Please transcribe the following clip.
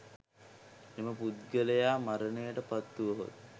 එම පුද්ගලයා මරණයට පත්වුවහොත්,